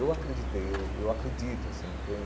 Eu acreditei, eu eu acredito, assim, entende?